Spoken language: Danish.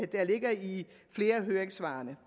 der ligger i flere af høringssvarene